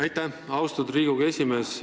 Aitäh, austatud Riigikogu esimees!